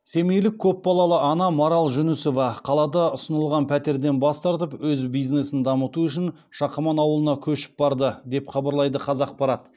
семейлік көпбалалы ана марал жүнісова қалада ұсынылған пәтерден бас тартып өз бизнесін дамыту үшін шақаман ауылына көшіп барды деп хабарлайды қазақпарат